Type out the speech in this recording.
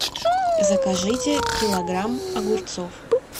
закажите килограмм огурцов